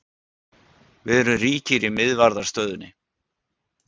Við erum ríkir í miðvarðarstöðunni.